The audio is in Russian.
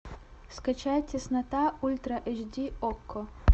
скачай теснота ультра эйчди окко